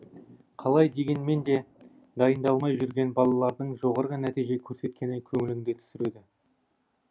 қалай дегенмен де дайындалмай жүрген балалардың жоғары нәтиже көрсеткені көңіліңді түсіреді